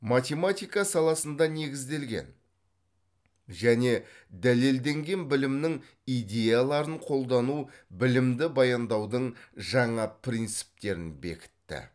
математика саласында негізделген және дәлелденген білімнің идеяларын қолдану білімді баяндаудың жаңа принциптерін бекітті